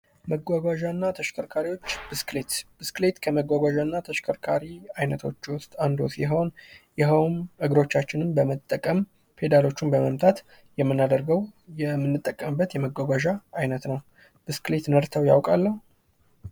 መጓጓዣ እና ተሽከርካሪዎች ብስክሌት ብስክሌት ከመጓጓዣ እና ተሽከርካሪዎች ውስጥ አንዱ ሲሆን ።ይህውም እግሮቻችንን በመጠቀም ፔዳሎቹም በመምታት የምናደርገው የምንጠቀምበት የመጓጓዣ አይነት ነው። ብስክሌት ነድተው ያውቃሉ?